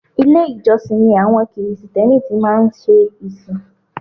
Ilé-ìjọsìn ni àwọn Krìsìtẹ́nì tí má ń ṣe ìsìn